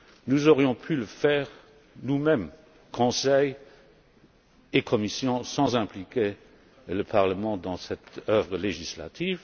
Nous aurions pu le faire nous mêmes Conseil et Commission sans impliquer le Parlement dans cette œuvre législative.